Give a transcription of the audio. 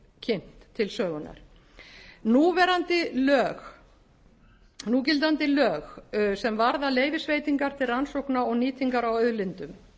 kynnt til sögunnar núgildandi lög sem varða leyfisveitingar til rannsókna og nýtingar á auðlindum